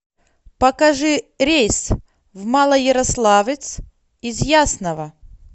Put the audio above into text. покажи рейс в малоярославец из ясного